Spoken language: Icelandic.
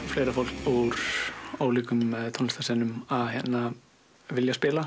fleira fólk úr ólíkum tónlistarstefnum að vilja spila